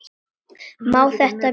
Má þetta bíða?